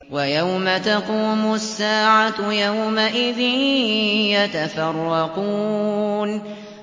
وَيَوْمَ تَقُومُ السَّاعَةُ يَوْمَئِذٍ يَتَفَرَّقُونَ